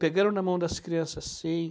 Pegando na mão das crianças, sim.